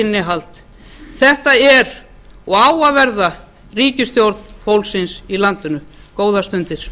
innihald þetta er og á að verða ríkisstjórn fólksins í landinu góðar stundir